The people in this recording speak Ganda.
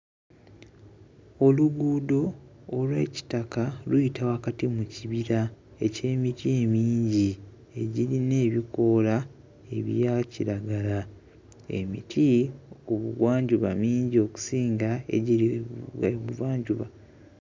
Oluguudo olw'ekitaka luyita wakati mu kibira eky'emiti emingi egirina ebikoola ebya kiragala emiti ku Bugwanjuba mingi okusinga egiri e Buvanjuba.